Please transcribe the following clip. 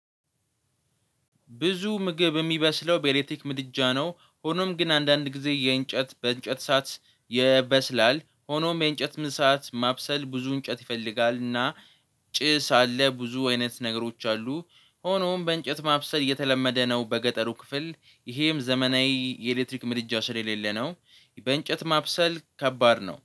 ብዙ ምግብ የሚበስለው በኤሌክትሪክ ምድጃ ነው ሆኖም ግን አንዳንድ ጊዜ የእንጨት በእንጨት እሳአት ይበስላል ሆኖም የእንጨት እሳት ማብሰል ብዙ እንጨት ይፈልጋል እና ጭስ አለ ብዙ አይነት ነገሮች አሉ ሆኖም በእንጨት ማብሰል የተለመደ ነው። በገጠሩ ክፍል ይሄም ዘመናዊ የኤሌክትሪክ ምድጃ ስለሌለ ነው። በእንጨት ማብሰል ከባድ ነው